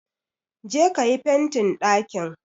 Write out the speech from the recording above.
Je ka yi fentin ɗakin